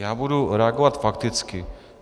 Já budu reagovat fakticky.